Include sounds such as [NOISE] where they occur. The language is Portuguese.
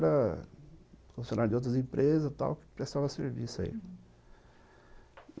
[UNINTELLIGIBLE] funcionários de outras empresas tal que prestavam serviço aí, uhum.